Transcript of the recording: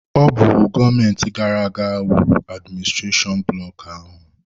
Ọ bụ gọọmenti gara aga wuru adiministrashonụ bloku ahụ.